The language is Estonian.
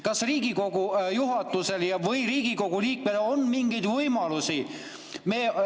Kas Riigikogu juhatusel või Riigikogu liikmel on mingeid võimalusi?